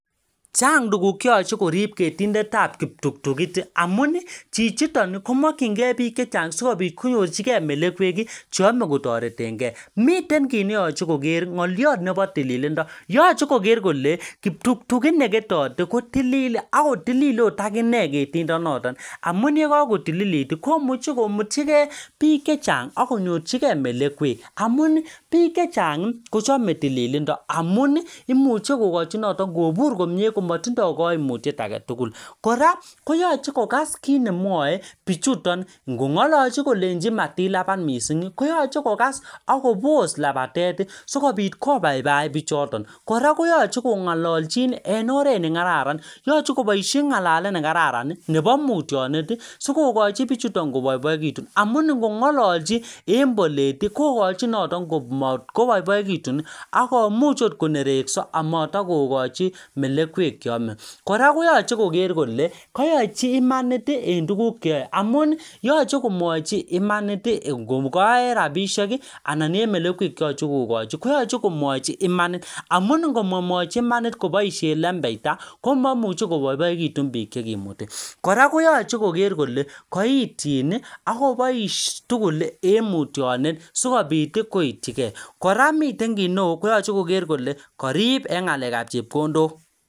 Chang' tuguk cheyochei korip ketindetab ptuktukit amun chichiton komokchingei biik chechang' sikobit konyorchigei melekwek cheomei kotoretengei miten kiit neyochei koker ng'oliot nebo tililindo yochei koker kole ptuktukit neketote ko tilil akotilil akot akine ketindonoto amun yekakotililit komuchei komutchigei biik chechang' akonyorchigei melekwek amun biik chechang' kochomei tililindo amun imuche kokochi noto kobur komye komatindoi kaimutyet age tugul kora koyoche kokas kiit nemwoei bichuton ngong'ololji kolenji matilapat mising' koyoche kokas akobos lapatet sikobit kopaipai bichoton kora koyoche kong'ololjin en oret nekararan yochei koboishe ng'alet nekararan nebo mutyonet sikokochin bichuton kopoipoikitun amun ngong'ololjin en bolet kokochin noto komatkopoipoikitun akomuch akot konerekso ako matokokochi melekwek cheome kora koyochei koker kole kayochi imanit en tukuk cheoe amun yochei komwochi imanit ngoka en rabishek anan en melekwek cheyochei kokochi koyochi komwochi imanit amun ngomamwochi imanit koboishe lembeita komaimuchi kopoipoikitun biik chekimuti kora koyochei koker kole kaityi akobois tugul en mutyonet sikobit koityikei kora miten kiit neo koyochei koker kole karip eng' ng'alekab chepkondok